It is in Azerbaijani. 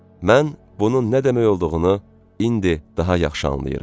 Mən bunun nə demək olduğunu indi daha yaxşı anlayıram.